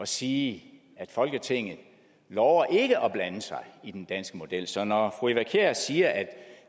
sige at folketinget lover ikke at blande sig i den danske model så når fru eva kjer hansen siger at